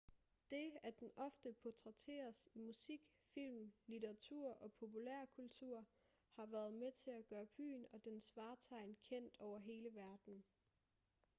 det at den ofte portrætteres i musik film litteratur og populærkultur har været med til at gøre byen og dens vartegn kendt over hele verden